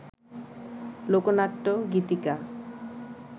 লোকনাট্য, গীতিকা